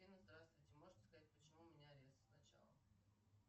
афина здравствуйте можете сказать почему у меня арест сначала